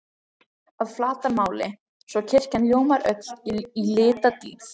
að flatarmáli, svo kirkjan ljómar öll í litadýrð.